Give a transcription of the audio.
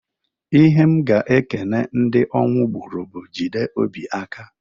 Ihe m ga-ekene ndị ọnwụ gbuuru bu, "Jide obi aka!"